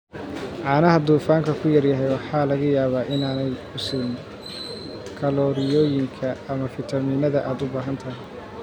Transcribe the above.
Caanaha dufanku ku yar yahay waxaa laga yaabaa inaanay ku siin kalooriyooyinka ama fiitamiinnada aad u baahan tahay.